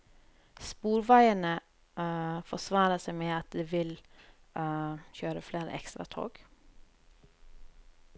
Sporveiene forsvarer seg med at de vil kjøre flere ekstratog.